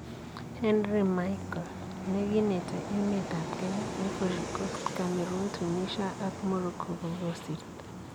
Henri Michel:Neginete emetab Kenya ,Ivory Coast, Cameroon, Tunisia ak Morocco kogosirto.